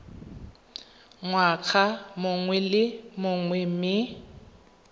ngwaga mongwe le mongwe mme